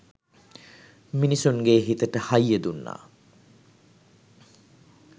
මිනිස්සුන්ගෙ හිතට හයිය දුන්නා.